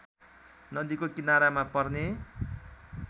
नदीको किनारामा पर्ने